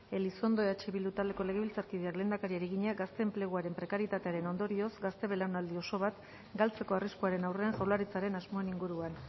elizondo eh bildu taldeko legebiltzarkideak lehendakariari egina gazte enpleguaren prekaritatearen ondorioz gazte belaunaldi oso bat galtzeko arriskuaren aurrean jaurlaritzaren asmoen inguruan